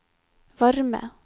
varme